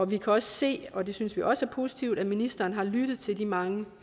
vi kan også se og det synes vi også er positivt at ministeren har lyttet til de mange